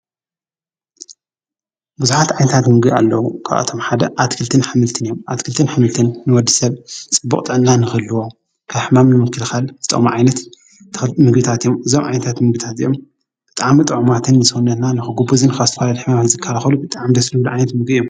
ብዙኃት ዓይንታት ምግ ኣሎዉ ኳቶም ሓደ ኣትክልትን ኃምልትን እዮም ኣትክልትን ሕምልትን ንወዲ ሰብ ጽቡቕጠና ንኽልዎ ካሕማም ንምንክልኻል ዝጠምዓይነት ምግታት እዮም ዞም ዓይንታት ምግታት ዮም ጥዓም ጥዕማትን ምስ ወነና ንኽጕቡዘን ኻሥትልድሕምምት ዝካልኸሉ ብጠዓም ደሥሉ ልዓይነት ምግ እዮም።